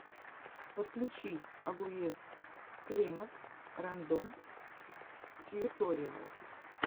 подключи агоез клемод рэндом тьюториалс